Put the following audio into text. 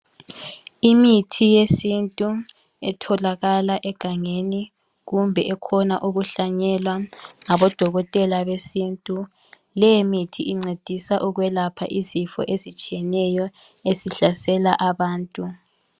Imithi yesintu etholakala egangeni kumbe ekhona ukuhlanyelwa ngabodokotela besintu. Leyimithi incedisa ukwelapha izifo ezitshiyeneyo ezihlasela abantu.